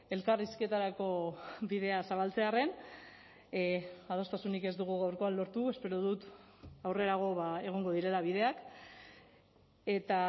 elkarrizketarako bidea zabaltzearren adostasunik ez dugu gaurkoan lortu espero dut aurrerago egongo direla bideak eta